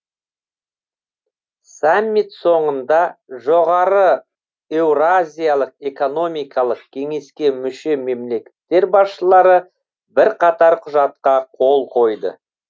саммит соңында жоғары еуразиялық экономикалық кеңеске мүше мемлекеттер басшылары бірқатар құжатқа қол қойды